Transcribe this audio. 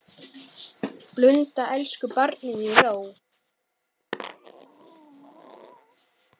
Blunda elsku barnið í ró.